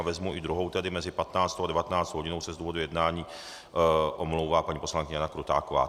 A vezmu i druhou, tedy mezi 15. a 19. hodinou se z důvodů jednání omlouvá paní poslankyně Jana Krutáková.